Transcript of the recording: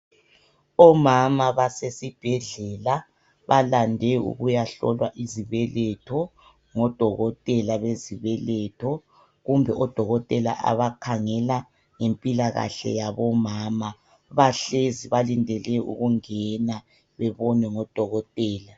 Omama basesibhedlela, balande ukuyahlolwa izibeletho ngodokotela bezibeletho, kumbe odokotela abakhangela ngempilakahle yabomama. Bahlezi balindele ukungena bebonwe ngodokotela.